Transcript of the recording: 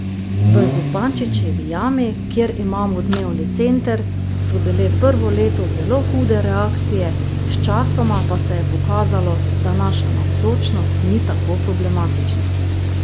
V Zupančičevi jami, kjer imamo dnevni center, so bile prvo leto zelo hude reakcije, sčasoma pa se je pokazalo, da naša navzočnost ni tako problematična.